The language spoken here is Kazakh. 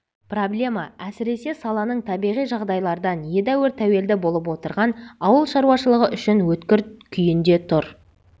проблема әсіресе саланың табиғи жағдайлардан едеуір тәуелді болып отырған ауыл шаруашылығы үшін өткір күйінде тұр